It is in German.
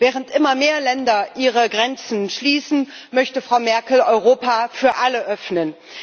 Während immer mehr Länder ihre Grenzen schließen, möchte Frau Merkel Europa für alle öffnen.